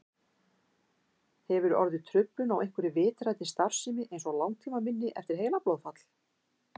Hefur orðið truflun á einhverri vitrænni starfsemi eins og langtímaminni eftir heilablóðfall?